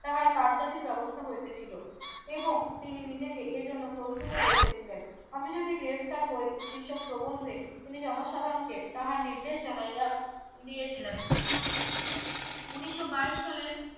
তাহার কার জাধির ব্যবস্থা হইতেছিল এবং তিনি নিজেকে এই জন্য প্রস্তুত করিতেছিলেন আমি যদি গ্রেফতার হই সে সব প্রবন্ধে তিনি জনসাধারণকে তাহার নির্দেশ জানাইয়া দিয়েছিলেন উন্নিশো বাইশ সালের